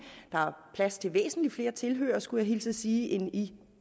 der plads til væsentlig flere tilhørere skulle jeg hilse at sige end i